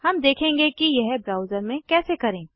हम देखेंगे कि यह ब्राउज़र में कैसे करें